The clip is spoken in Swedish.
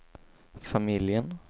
familjen